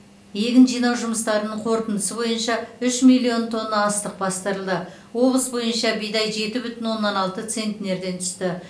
егін жинау жұмыстарының қорытындысы бойынша үш миллион тонна астық бастырылды облыс бойынша бидай жеті бүтін оннан алты центнерден түсті